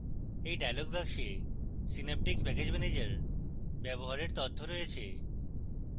এই dialog box synaptic package manager ব্যবহারের তথ্য রয়েছে